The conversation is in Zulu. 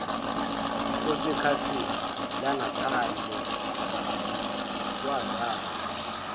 osekhasini langaphandle wazalwa